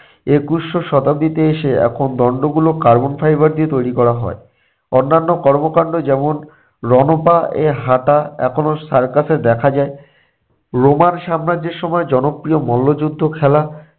একুশশো শতাব্দীতে এসে এখন দণ্ডগুলো carbon fiber দিয়ে তৈরি করা হয়। অন্যান্য কর্মকাণ্ড যেমন রণ পা এ হাঁটা এখনো circus এ দেখা যায়। রোমান সাম্রাজ্যের সময় জনপ্রিয় মল্লযুদ্ধ খেলা